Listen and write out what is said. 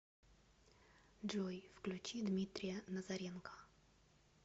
джой включи дмитрия назаренко